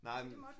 Nej